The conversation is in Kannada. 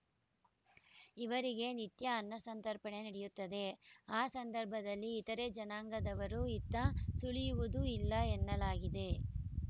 ಇವರಿಗೆ ನಿತ್ಯ ಅನ್ನಸಂತರ್ಪಣೆ ನಡೆಯುತ್ತದೆ ಆ ಸಂದರ್ಭದಲ್ಲಿ ಇತರೆ ಜನಾಂಗದವರು ಇತ್ತ ಸುಳಿಯುವುದೂ ಇಲ್ಲ ಎನ್ನಲಾಗಿದೆ